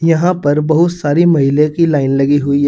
यहां पर बहुत सारी महिले की लाइन लगी हुई है।